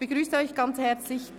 klingen wird.